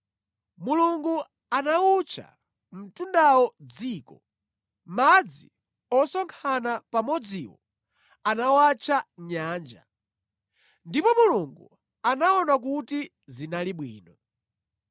Mulungu anawutcha mtundawo “dziko,” madzi osonkhana pamodziwo anawatcha “nyanja.” Ndipo Mulungu anaona kuti zinali bwino.